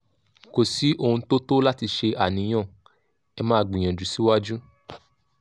kò sí ohun tó tó láti ṣe àníyàn ẹ máa gbìyànjú síwájú